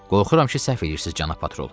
Qorxuram ki, səhv eləyirsiz, cənab patrul.